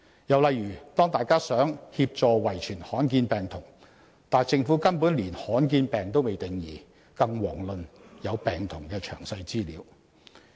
又例如，大家想協助遺傳罕見病童，但政府根本連罕見病也未定義，遑論有病童的詳細資料。